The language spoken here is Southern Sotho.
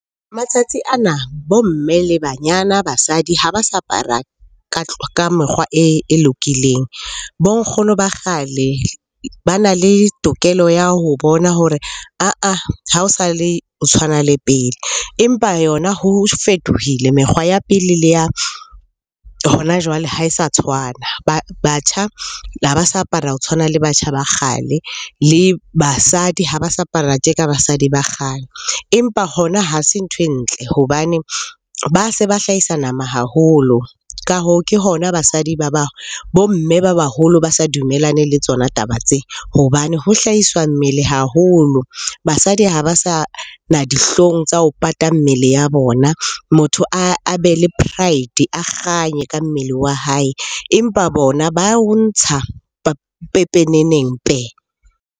Matsatsi ana bo mme, le banyana, basadi ha ba sa apara ka mekgwa e lokileng. Bo nkgono ba kgale bana le tokelo ya ho bona hore ha o sa le, o tshwana le pele. Empa yona ho fetohile mekgwa ya pele le ya hona jwale ha e sa tshwana. Batjha ha ba sa apara ho tshwana le batjha ba kgale, le basadi ha ba sa apara tje ka basadi ba kgale. Empa hona ha se nthwe ntle hobane ba se ba hlahisa nama haholo. Ka hoo, ke hona basadi ba bo mme ba baholo ba sa dumellane le tsona taba tse. Hobane ho hlahiswa mmele haholo, basadi ha ba sa na dihlong tsa ho pata mmele ya bona. Motho a be le pride, a kganye ka mmele wa hae. Empa bona ba o ntsha pepeneneng pe!